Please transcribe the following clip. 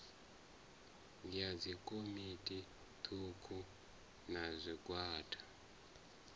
ya dzikomiti thukhu na zwigwada